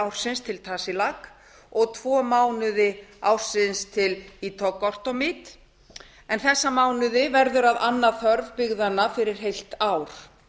ársins til tasiilaq og tvo mánuði ársins til ittoqqortoormiit þessa mánuði verður að anna þörf byggðanna fyrir heilt ár